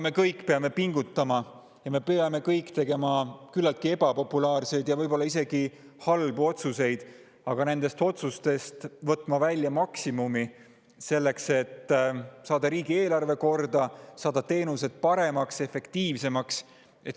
Me kõik peame pingutama ja me peame tegema küllaltki ebapopulaarseid, võib-olla isegi halbu otsuseid ning nendest otsustest võtma välja maksimumi selleks, et saada riigieelarve korda ning teenused paremaks ja efektiivsemaks.